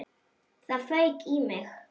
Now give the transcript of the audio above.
Það fauk í mig.